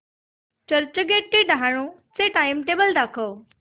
चर्चगेट ते डहाणू चे टाइमटेबल दाखव